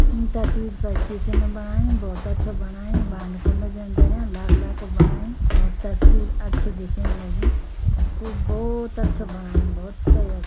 ईं तस्वीर पर किचन बणाईं भौत अच्छा बणाईं। भांडा-कुंडा भी यन धरयाँ। लाखड़ा कु बणायु और तस्वीर अच्छि दिखेण लगीं। खूब भौत अच्छू बणायु भोते अ --